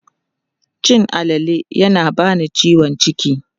Cin alale yana bani ciwon ciki.